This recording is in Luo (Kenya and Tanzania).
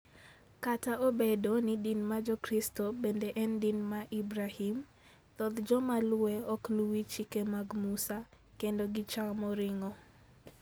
Kata obedo ni din mar Jokristo bende en din mar Ibrahim, thoth joma luwe ok luw chike mag Musa, kendo gichamo ring'o.